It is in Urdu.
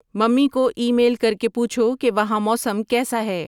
ممی کو ای میل کر کے پوچھو کہ وہاں موسم کیسا ہے